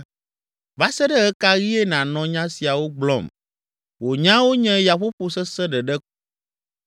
“Va se ɖe ɣe ka ɣie nànɔ nya siawo gblɔm? Wò nyawo nye yaƒoƒo sesẽ ɖeɖe ko.